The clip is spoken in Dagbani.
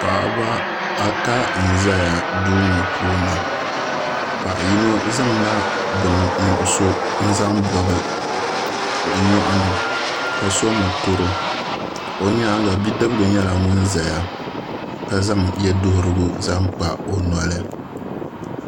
Paɣaba ata n ʒɛya duu ŋo puuni paɣa yino zaŋla bini nuɣso n zaŋ bobi o nyoɣani ka so mokuru o nyaanga bidibgi nyɛla ŋun ʒɛya ka zaŋ yɛ duɣurigu zaŋ kpa o noli